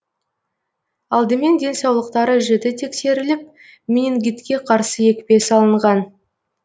алдымен денсаулықтары жіті тексеріліп менингитке қарсы екпе салынған